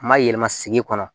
Ma yɛlɛma sigi kɔnɔ